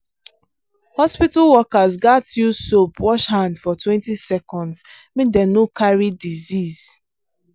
hospital workers gats use soap wash hand fortwentyseconds make dem no carry disease.